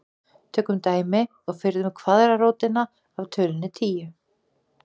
tökum dæmi og finnum kvaðratrótina af tölunni tíu